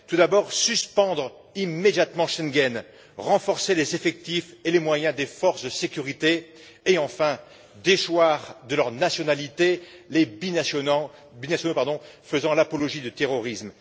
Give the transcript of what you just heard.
Tout d'abord, suspendre immédiatement Schengen, renforcer les effectifs et les moyens des forces de sécurité et, enfin, déchoir de leur nationalité les binationaux faisant l'apologie du terrorisme.